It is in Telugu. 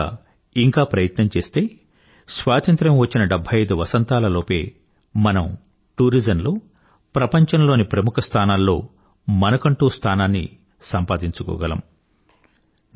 మనం గనుక ఇంక ప్రయత్నం చేస్తే స్వాతంత్రం వచ్చిన 75 వసంతాల లోపే మనం టూరిజంలో ప్రపంచంలోని ప్రముఖ స్థానాల్లో మనకంటూ స్థానాన్ని సంపాదించుకోగలము